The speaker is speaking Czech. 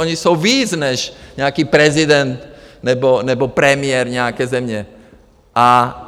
Oni jsou víc než nějaký prezident nebo premiér nějaké země!